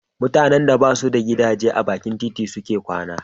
Mutanen da ba su da gidaje a bakin titi suke kwana.